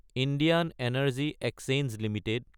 Indian energy exchange Ltd